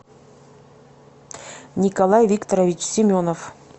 николай викторович семенов